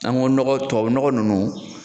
An ko nɔgɔ tubabu nɔgɔ nunnu